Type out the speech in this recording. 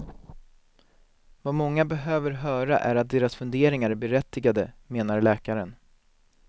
Vad många behöver höra är att deras funderingar är berättigade, menar läkaren.